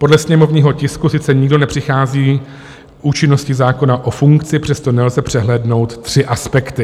Podle sněmovního tisku sice nikdo nepřichází účinností zákona o funkci, přesto nelze přehlédnout tři aspekty.